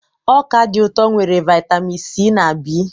Ọka dị ụtọ nwere vitamin C na B.